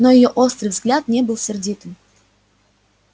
но её острый взгляд не был сердитым